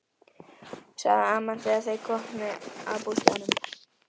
sagði amman þegar þeir komu að bústaðnum.